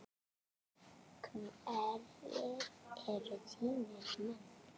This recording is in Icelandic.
Hverjir eru þínir menn?